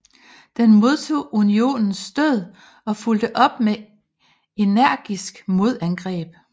Den modtog Unionens stød og fulgte op med energiske modangreb